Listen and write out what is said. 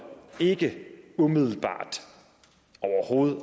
umiddelbart